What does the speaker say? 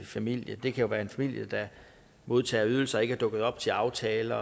familie det kan være en familie der modtager ydelser men ikke er dukket op til aftaler